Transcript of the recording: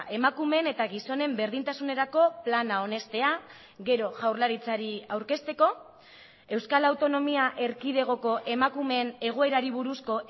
emakumeen eta gizonen berdintasunerako plana onestea gero jaurlaritzari aurkezteko euskal autonomia erkidegoko emakumeen egoerari buruzko